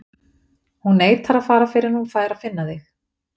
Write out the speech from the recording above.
Hún neitar að fara fyrr en hún fær að finna þig.